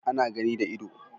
Ana gani da ido